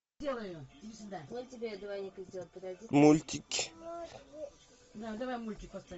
мультики